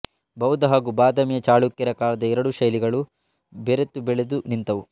ಬೌದ್ಧ ಹಾಗೂ ಬಾದಾಮಿಯ ಚಾಳುಕ್ಯರ ಕಾಲದ ಎರಡೂ ಶೈಲಿಗಳು ಬೆರೆತು ಬೆಳೆದು ನಿಂತವು